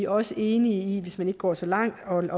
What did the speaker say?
også enige i hvis man ikke går så langt